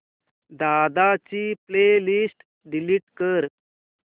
दादा ची playlist delete कर